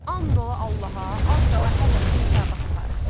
And ola Allaha, az qala hər həftə hesabat aparır.